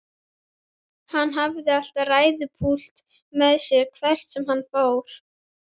Hann hafði alltaf ræðupúlt með sér hvert sem hann fór.